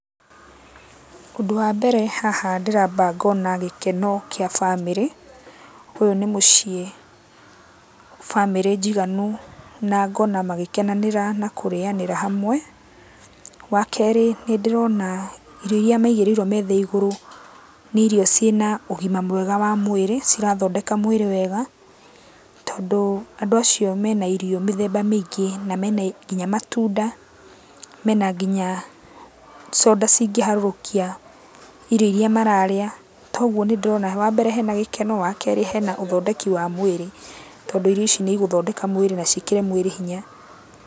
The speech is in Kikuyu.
Ũndũ wa mbere haha ndĩramba ngona gĩkeno kĩa bamĩrĩ. Ũyũ nĩ mũciĩ, bamĩrĩ njiganu na ngona magĩkenanĩra na kũrĩanĩra hamwe. Wakerĩ, nĩndĩrona irio iria maigĩrĩirũo metha igũrũ, nĩ irio ciĩna ũgima mwega wa mwĩrĩ, cirathondeka mwĩrĩ wega, tondũ andũ acio mena irio mĩthemba mĩingĩ na mena nginya matunda, mena nginya coda cingĩharũrũkia irio iria mararĩa, toguo nĩndĩrona wambere hena gĩkeno, wakerĩ hena ũthondeki wa mwĩrĩ, tondũ irio ici nĩigũthondeka mwĩrĩ na ciĩkĩre mwĩrĩ hinya.